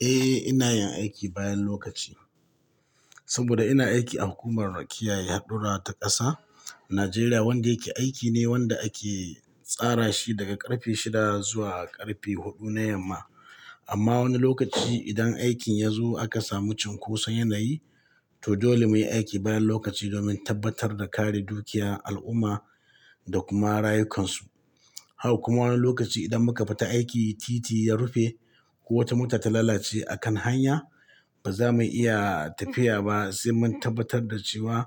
Eh, ina yin aiki bayan lokaci. Saboda ina aiki a hukumar kiyaye hadurra ta ƙasa, Najeriya wanda yake aiki ne wanda ake tsara shi daga ƙarfe shida zuwa ƙarfe huɗu na yamma. Amma wani lokaci idan aikin ya zo aka samu cunkoson yanayi, to dole muyi aiki bayan lokaci domin tabbatar da kare dukiyar al'umma da kuma rayukansu. Haka kuma wani lokaci idan muka bata aiki titi ya rufe ko wata mota ta lalace a kan hanya, ba za mu iya tafiya ba sai mun tabbatar da cewa